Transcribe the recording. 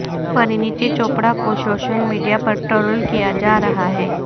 پرینیتی چوپڑہ کو social media پر troll کیا جا رہا ہے